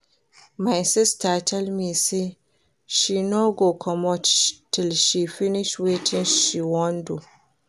My sister tell me say she no go comot till she finish wetin she wan do